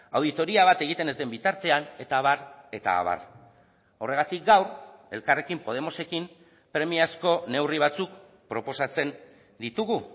auditoria bat egiten ez den bitartean eta abar eta abar horregatik gaur elkarrekin podemosekin premiazko neurri batzuk proposatzen ditugu